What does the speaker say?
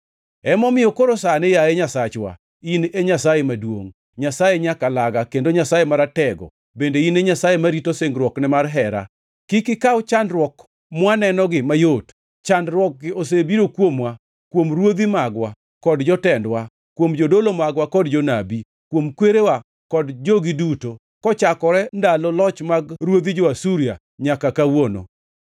“Emomiyo koro sani, yaye Nyasachwa, in e Nyasaye maduongʼ, Nyasaye nyakalaga kendo Nyasaye Maratego bende in e Nyasaye marito singruokne mar hera. Kik ikaw chandruok mwanenogi mayot; chandruokgi osebiro kuomwa, kuom ruodhi magwa kod jotendwa, kuom jodolo magwa kod jonabi, kuom kwerewa kod jogi duto, kochakore ndalo loch mag ruodhi jo-Asuria nyaka kawuono.